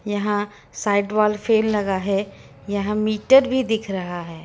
यहां side wall fan लगा है यहां मीटर भी दिख रहा है।